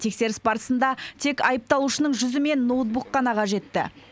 тексеріс барысында тек айыпталушының жүзі мен ноутбук қана қажетті